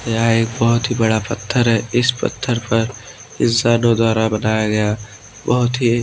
यह एक बहुत ही बड़ा पत्थर है इस पत्थर पर इंसानों द्वारा बनाया गया बहुत ही--